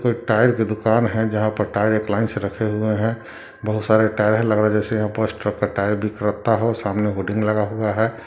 कोई टायर की दुकान है जहा पर टायर एक लाइन से रखे हुए है बहुत सारे टायर है लगता है।